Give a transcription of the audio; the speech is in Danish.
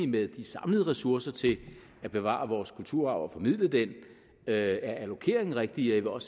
med de samlede ressourcer til at bevare vores kulturarv og formidle den er allokeringen rigtig og